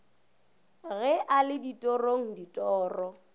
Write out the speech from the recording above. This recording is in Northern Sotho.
ge a le ditorong ditoro